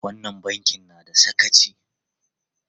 Wannan bankin na da sakaci!